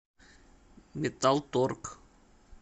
металл торг